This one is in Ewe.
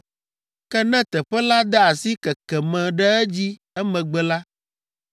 Ke ne teƒe la de asi keke me ɖe edzi emegbe la,